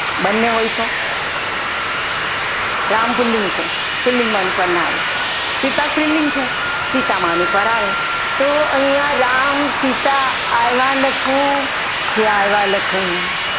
બંને હોય ત રામ પુલ્લિંગ છે પુલ્લિંગમાં અનુસ્વાર ન આવે સીતા સ્ત્રીલિંગ છે સીતામાં અનુસ્વાર આવે તો અહીંયા રામ સીતા આવ્યા લખું કે આવ્યા લખું